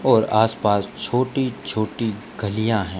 और आस पास छोटी छोटी गलियाँ है।